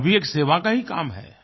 यह भी एक सेवा का ही काम है